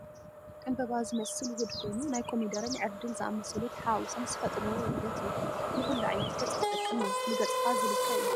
ዕንበበ ዘምስል ውህድ ኮይኑ ናይ ኮሚደሮን ዕርድን ዝኣመሰሉ ተሓዋዊሶም ዝፈጥርዎ ውህደት እዩ። ንኩሉ ዓይነት ገፅ ዝጠቅም እዩ። ንገፅካ ዝልከ እዩ።